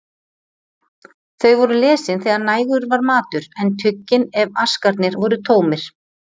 Þau voru lesin þegar nægur var matur, en tuggin ef askarnir voru tómir.